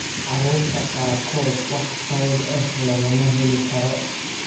Carruurta qaarkood, wax sabab ah lagama heli karo.